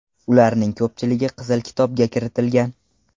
Ularning ko‘pchiligi Qizil kitobga kiritilgan.